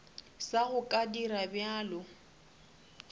sa go ka dira bjalo